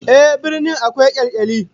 Ehh, birni akwai kyalkyali